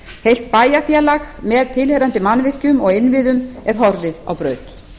heilt bæjarfélag með tilheyrandi mannvirkjum og innviðum er horfið á braut